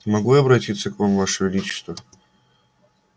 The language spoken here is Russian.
могу я обратиться к вам ваше величество